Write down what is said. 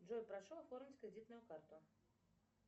джой прошу оформить кредитную карту